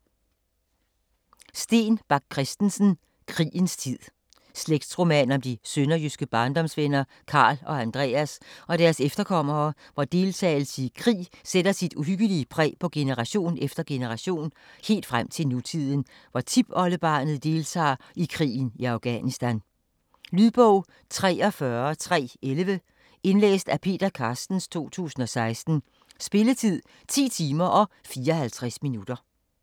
Bach Christensen, Steen: Krigens tid Slægtsroman om de sønderjyske barndomsvenner Karl og Andreas og deres efterkommere, hvor deltagelse i krig sætter sit uhyggelig præg på generation efter generation, helt frem til nutiden, hvor tiptipoldebarnet deltager i krigen i Afghanistan. Lydbog 43311 Indlæst af Peter Carstens, 2016. Spilletid: 10 timer, 54 minutter.